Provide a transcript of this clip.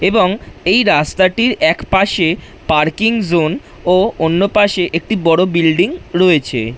এবং এই রাস্তাটির একপাশে পার্কিং জোন ও অন্য পাশে একটি বড় বিল্ডিং রয়েছে।